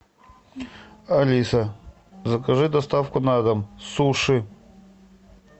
алиса закажи доставку на дом суши